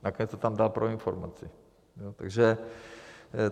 Nakonec to tam dal pro informaci.